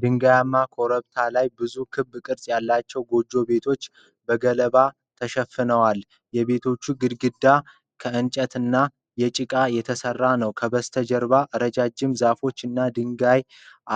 ድንጋያማ ኮረብታ ላይ ብዙ ክብ ቅርጽ ያላቸው ጎጆ ቤቶች በገለባ ተሸፍነዏል። የቤቶቹ ግድግዳ ከእንጨት እና ከጭቃ የተሰራ ነው። ከበስተጀርባ ረጅም ዛፎች እና የድንጋይ